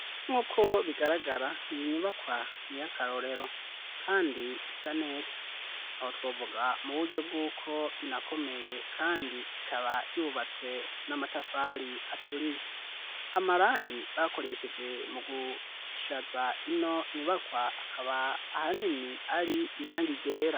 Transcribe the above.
Nk'uko bigaragara iyi nyubakwa ni iyakarorero kandi isa neza aho twovuga mu buryo bw'uko inakomeye kandi ikaba yubatswe n'amatafari aturiye amarangi bakoresheje mu gushaza ino nyubakwa akaba ahanini ari irangi ryera.